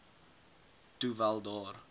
toe wel daar